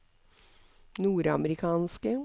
nordamerikanske